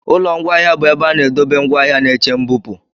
Ụlọ ngwaahịa bụ ebe a na-edobe ngwaahịa na-eche mbupụ.